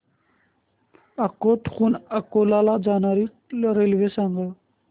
अकोट हून अकोला ला जाणारी रेल्वे सांग